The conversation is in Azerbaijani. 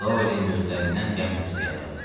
Dolinin gözlərindən qəm-qüssə yağırdı.